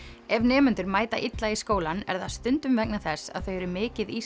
ef nemendur mæta illa í skólann er það stundum vegna þess að þau eru mikið í